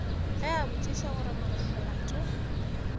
ge a botšiša gore molato